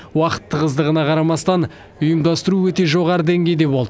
уақыт тығыздығына қарамастан ұйымдастыру өте жоғары деңгейде болды